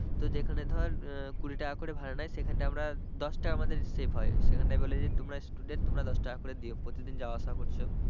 তো যেখানে ধর কুড়ি টাকা করে ভাড়া নেয় সেখানটায় আমরা দশ টাকা আমাদের save হয় সেখানটায় বলে যে তোমরা student তোমরা দশটাকা করে দিও প্রতিদিন যাওয়া আসা করছো।